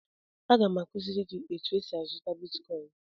Aga m akụziri gị etu esi azụta bitkọin.